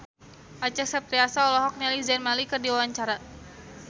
Acha Septriasa olohok ningali Zayn Malik keur diwawancara